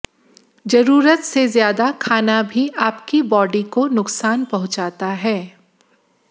जरूरत से ज्यादा खाना भी आपकी बॉडी को नुकसान पहुंचाता है